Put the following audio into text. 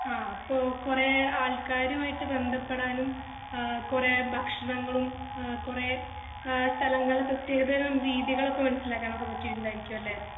ആഹ് അപ്പൊ കൊറേ ആൾക്കറുമായിട്ട് ബന്ധപ്പെടാനും ആഹ് കൊറേ ഭക്ഷണങ്ങളും ആഹ് കൊറേ ആഹ് സ്ഥലങ്ങളെ പ്രത്യേകതകളും രീതികളൊക്കെ മനസിലാകാൻ ഒക്കെ പറ്റീട്ടുണ്ടായിരിക്കും അല്ലെ